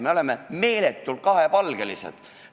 Me oleme meeletult kahepalgelised.